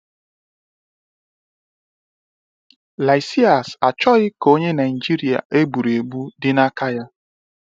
Lysias achọghị ka onye Naịjirịa egburuegbu dị na aka ya.